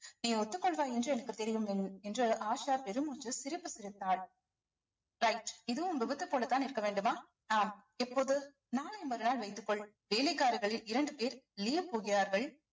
நீ ஒத்துக் கொள்வாய் என்று எனக்கு தெரியும் என்~ என்று ஆஷா பெருமூச்சு சிரிப்பு சிரித்தாள் right இதுவும் விபத்து போலதான் இருக்க வேண்டுமா ஆம் எப்போது நாளை மறுநாள் வைத்துக்கொள் வேலைக்காரர்களில் இரண்டு பேர் leave போடுகிறார்கள்